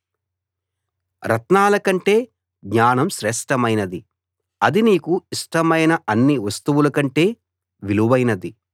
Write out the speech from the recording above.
రత్నాల కంటే జ్ఞానం శ్రేష్ఠమైనది అది నీకు ఇష్టమైన అన్ని వస్తువుల కంటే విలువైనది